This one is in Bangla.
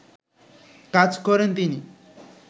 কাজ করেন তিনি